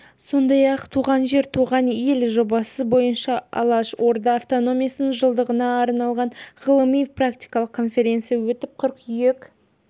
сондай-ақ туған жер туған ел жобасы бойынша алаш орда автономиясының жылдығына арналған ғылыми-практикалық конференция өтіп қыркүйек